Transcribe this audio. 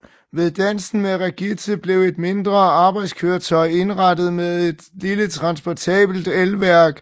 Ved Dansen med Regitze blev et mindre arbejdskøretøj indrettet med et lille transportabelt elværk